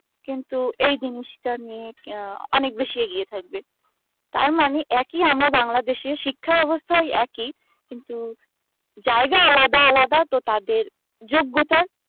কিন্তু এই জিনিস টা নিয়ে কি আহ অনেক বেশি এগিয়ে থাকবে তারমানে একই আমরা bangladesh ই ও শিক্ষা ব্যাবস্থায় একই কিন্তু জায়গা আলাদা আলাদা তো তাদের যোগ্যতার